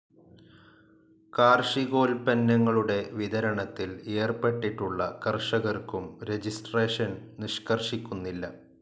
കാർഷികോൽപന്നങ്ങളുടെ വിതരണത്തിൽ ഏർപ്പെട്ടിട്ടുള്ള കർഷകർക്കും രജിസ്ട്രേഷൻ നിഷ്‌കർഷിക്കുന്നില്ല.